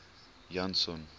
janson